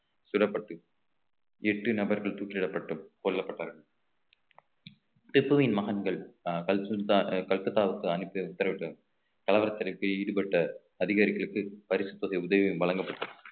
சுடப்பட்டு எட்டு நபர்கள் தூக்கிலிடப்பட்டு கொல்லப்பட்டனர் திப்புவின் மகன்கள் அஹ் கல்சுத்த~ கல்கத்தாவுக்கு அனுப்பி கலவரத்திற்கு ஈடுபட்ட அதிகாரிகளுக்கு பரிசுத் தொகை உதவியும் வழங்கப்பட்டது